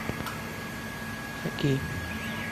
хоккей